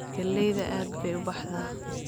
Galleyda aad bay u baxdaa.